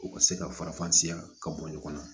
U ka se ka faranfasiya ka bɔ ɲɔgɔn na